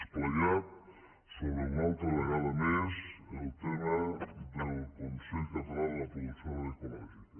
esplaiat sobre una altra vegada més el tema del consell català de la producció agrària ecològica